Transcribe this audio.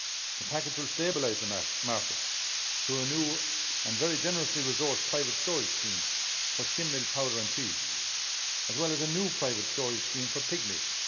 The package will stabilise the market, through a new and very generously-resourced private storage scheme for skimmed milk powder and cheese as well as a new private storage scheme for pigmeat.